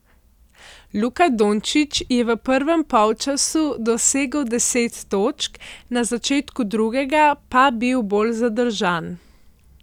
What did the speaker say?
Luka Dončić je v prvem polčasu dosegel deset točk, na začetku drugega pa bil bolj zadržan.